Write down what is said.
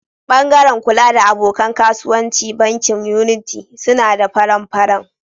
Bangaren kula da abokan kasuwanci bankin Unity suna da faran-faran.